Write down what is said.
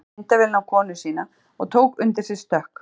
Hann hengdi myndavélina á konu sína og tók undir sig stökk.